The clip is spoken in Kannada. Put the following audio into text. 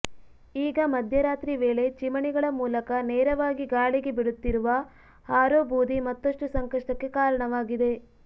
ಈಗ ಮಧ್ಯರಾತ್ರಿ ವೇಳೆ ಚಿಮಣಿಗಳ ಮೂಲಕ ನೇರವಾಗಿ ಗಾಳಿಗೆ ಬಿಡುತ್ತಿರುವ ಹಾರೋಬೂದಿ ಮತ್ತಷ್ಟು ಸಂಕಷ್ಟಕ್ಕೆ ಕಾರಣವಾಗಿದೆ